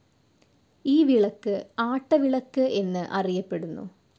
ഈ വിളക്ക് ആട്ടവിളക്ക് എന്ന് അറിയപ്പെടുന്നു.